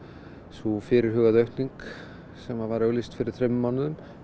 sú fyrirhugaða aukning sem var auglýst fyrir þremur mánuðum